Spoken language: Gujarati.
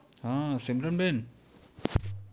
હા સિમરનબેન